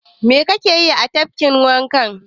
Mai ka ke yi a tafkin wanka?